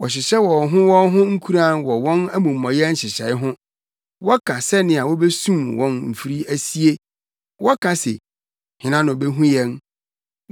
Wɔhyehyɛ wɔn ho wɔn ho nkuran wɔ wɔn amumɔyɛ nhyehyɛe ho, wɔka sɛnea wobesum wɔn mfiri asie; wɔka se, “Hena na obehu yɛn?”